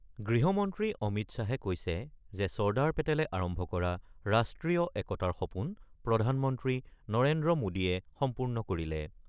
গৃহমন্ত্ৰী অমিত শ্বাহে কৈছে যে চৰ্দাৰ পেটেলে আৰম্ভ কৰা ৰাষ্ট্ৰীয় একতাৰ সপোন প্ৰধানমন্ত্ৰী নৰেন্দ্ৰ মোদীয়ে সম্পূৰ্ণ কৰিলে।